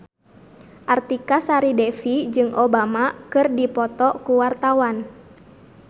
Artika Sari Devi jeung Obama keur dipoto ku wartawan